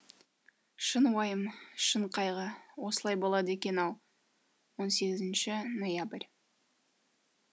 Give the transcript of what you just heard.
шын уайым шын қайғы осылай болады екен ау он сегізінші ноябрь